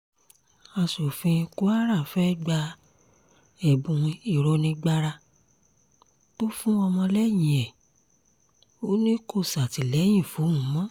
aṣòfin kwara fẹ́ẹ́ gba ẹ̀bùn ìrónígbára tó fún ọmọlẹ́yìn ẹ̀ ò ní kó ṣàtìlẹ́yìn fóun mọ́